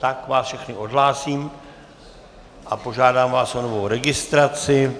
Tak vás všechny odhlásím a požádám vás o novou registraci.